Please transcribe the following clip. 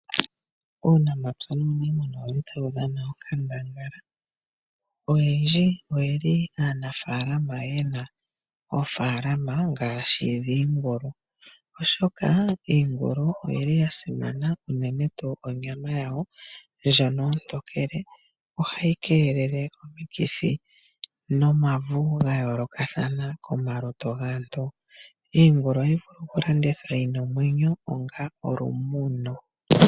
Uunamapya nuu niimuna otawu dhana onkandangala oyendji oyeli aanafaalama yena oofalama ngaashi dhiingulu. Iingulu oya simana unene tuu onyama yayo ndjono ontokele ohayi keelele omikithi nomauvu gayoolokathana komalutu gaantu. Iingulu ohayi vulu okulandithwa yina omwenyo onga olumuno.